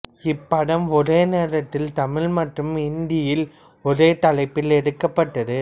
இப்படம் ஒரே நேரத்தில் தமிழ் மற்றும் இந்தியில் ஒரே தலைப்பில் எடுக்கப்பட்டது